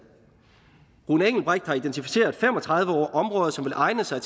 rune engelbreth har identificeret fem og tredive områder som vil egne sig